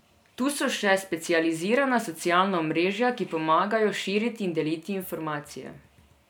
Tu so še specializirana socialna omrežja, ki pomagajo širiti in deliti informacije.